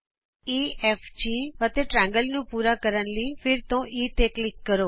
E F G ਅਤੇ ਤ੍ਰਿਕੋਣ ਨੂੰ ਪੂਰਾ ਕਰਨ ਲਈ ਫਿਰ ਤੋਂ E ਤੇ ਕਲਿਕ ਕਰੋ